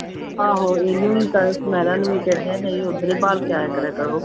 ਆਹੋ ਇਹਨੂੰ ਵੀ ਤਾਂਂ ਸੁਨੈਰਾ ਨੂੰ ਵੀ ਕਹਿੰਦੀਆਂ ਨਹੀਂ ਉੱਧਰ ਹੀ ਬਹਾਲ ਕੇ ਆਇਆ ਕਰਿਆ ਕਰੋ।